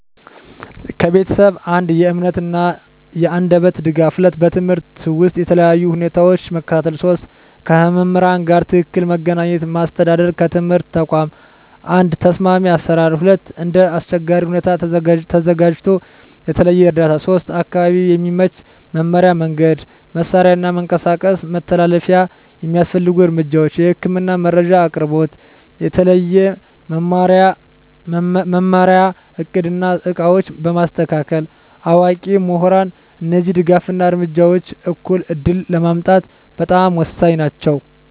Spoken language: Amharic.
ከቤተሰብ፦ 1. የእምነት እና የአንደበት ድጋፍ 2. በትምህርት ውስጥ በተለያዩ ሁኔታዎች መከታተል 3. ከመምህራን ጋር ትክክለኛ መገናኘት ማስተዳደር ከትምህርት ተቋም፦ 1. ተስማሚ አሰራር 2. እንደ አስቸጋሪ ሁኔታ ተዘጋጅቶ የተለየ እርዳታ 3. አካባቢ የሚመች መማሪያ መንገድ፣ መሳሪያ እና መንቀሳቀስ መተላለፊያ የሚያስፈልጉ እርምጃዎች፦ የህክምና መረጃ አቅርቦት፣ የተለየ መማሪያ እቅድ እና ዕቃዎች በማስተካከል፣ አዋቂ ምሁራን እነዚህ ድጋፍ እና እርምጃዎች እኩል ዕድል ለማምጣት በጣም ወሳኝ ናቸው።